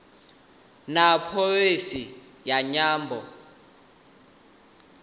na pholisi ya nyambo